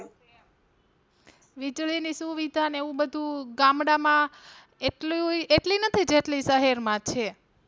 વીજળી ની સુવિધા ને એવું બધું ગામડાં માં એટલુંય એટલી નથી જેટલી શહેર માં છે.